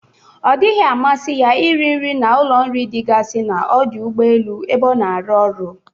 Ọ dịghi amasị ya iri nri na ụlọ nri dịgasi na ọdụ ụgbọelu ebe o na-aru ọrụ.